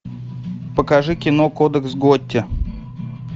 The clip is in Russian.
покажи кино кодекс готти